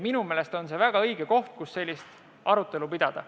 Minu meelest on see väga õige koht, kus sellist arutelu pidada.